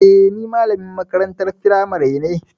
Eh, ni malamin makarantar firamari ne.